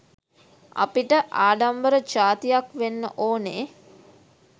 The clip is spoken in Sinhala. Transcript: අපිට ආඩම්බර ජාතියක් වෙන්න ඕනෙ